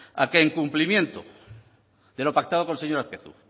a que el cumplimiento de lo pactada con el señor azpiazu